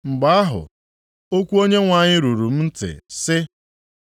Mgbe ahụ, okwu Onyenwe anyị ruru m ntị sị,